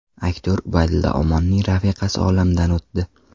Aktyor Ubaydulla Omonning rafiqasi olamdan o‘tdi.